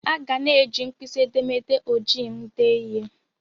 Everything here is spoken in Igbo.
Aga n eji mkpịsị edemede ojii m dee ihe.